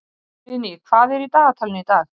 Friðný, hvað er í dagatalinu í dag?